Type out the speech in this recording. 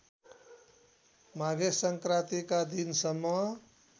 माघे संक्रान्तिका दिनसम्म